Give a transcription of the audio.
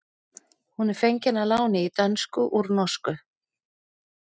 Hún er fengin að láni í dönsku úr norsku.